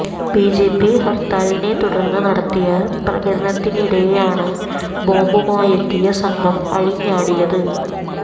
BJP ഹർത്താലിനെ തുടർന്ന് നടത്തിയ പ്രകടനത്തിനിടെയാണ് ബോംബുമായെത്തിയ സംഘം അഴിഞ്ഞാടിയത്